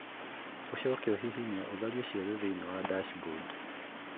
ũcoke ũhihinye ũtharie ciothe thĩinĩ wa dashboard